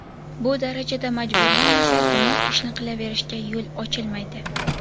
Bu darajada majburlanmasa, gunoh ishni qilaverishga yo‘l ochilmaydi.